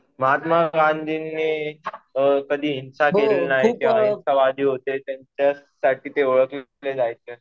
महात्मा गांधींनी कधी हिंसा केली नाही. ते अहिंसावादी होते. त्याच्यासाठी ते ओळखले जायचे.